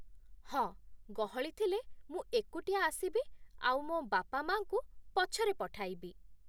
ହଁ, ଗହଳି ଥିଲେ ମୁଁ ଏକୁଟିଆ ଆସିବି ଆଉ ମୋ' ବାପା ମାଆଙ୍କୁ ପଛରେ ପଠାଇବି ।